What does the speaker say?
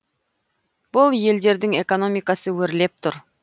бұл елдердің экономикасы өрлеп тұр